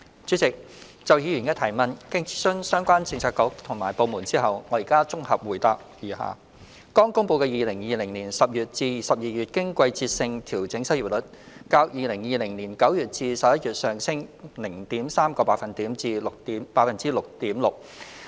主席，就議員的質詢，經諮詢相關政策局及部門後，我現綜合答覆如下：剛公布的2020年10月至12月經季節性調整失業率，較2020年9月至11月上升 0.3 個百分點至 6.6%。